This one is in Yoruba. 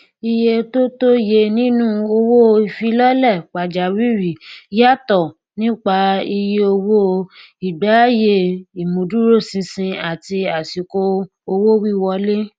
iye tó tó yẹ nínú owóìfilọlẹ pàjáwìrì yàtọ nípa iyeowó ìgbéayé ìmúdúróṣinṣin àti àsìkò owówíwọlé